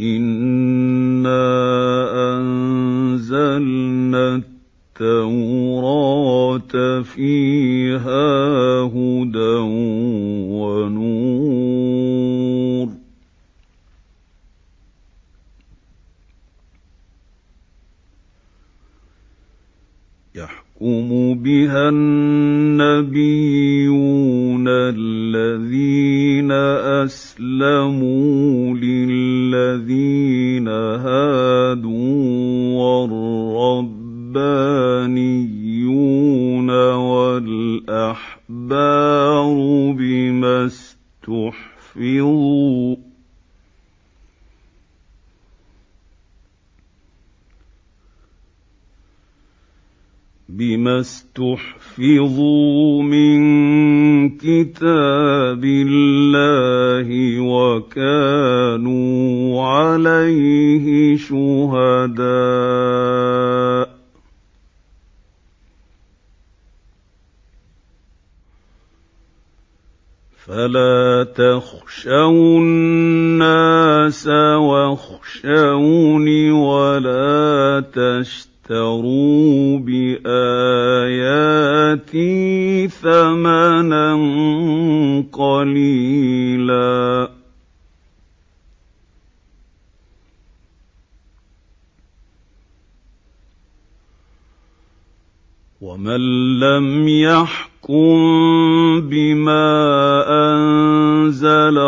إِنَّا أَنزَلْنَا التَّوْرَاةَ فِيهَا هُدًى وَنُورٌ ۚ يَحْكُمُ بِهَا النَّبِيُّونَ الَّذِينَ أَسْلَمُوا لِلَّذِينَ هَادُوا وَالرَّبَّانِيُّونَ وَالْأَحْبَارُ بِمَا اسْتُحْفِظُوا مِن كِتَابِ اللَّهِ وَكَانُوا عَلَيْهِ شُهَدَاءَ ۚ فَلَا تَخْشَوُا النَّاسَ وَاخْشَوْنِ وَلَا تَشْتَرُوا بِآيَاتِي ثَمَنًا قَلِيلًا ۚ وَمَن لَّمْ يَحْكُم بِمَا أَنزَلَ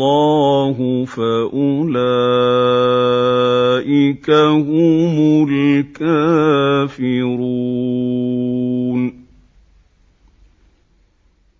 اللَّهُ فَأُولَٰئِكَ هُمُ الْكَافِرُونَ